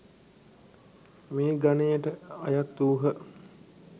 මේ ගනයට අයත් වූහ.